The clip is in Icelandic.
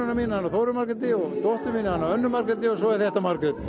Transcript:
mín heitir Þóra Margrét og dóttirin Anna Margrét og svo er þetta Margrét